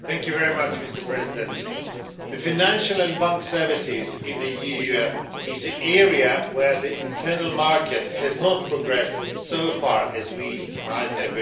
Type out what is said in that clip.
Mr President, the financial and banks services in the EU is the area where the internal market has not progressed as far as we might have wished.